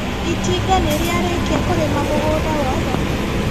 Itinga nĩrĩarĩkia kũrĩma mũgunda wothe?